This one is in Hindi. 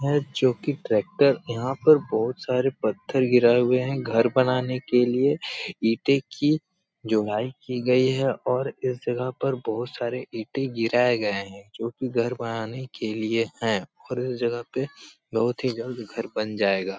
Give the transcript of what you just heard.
है जोकि ट्रेक्टर यहाँ पर बोहोत सारे पत्थर गिराए हुए हैं घर बनाने के लिए। इटे की जोड़ाई की गयी है और इस जगह पर बोहोत सारे इटे गिराए गए हैं जोकि घर बनाने के लिए हैं और इस जगह पे बोहोत ही जल्द घर बन जायेगा।